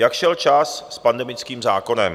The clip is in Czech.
Jak šel čas s pandemickým zákonem?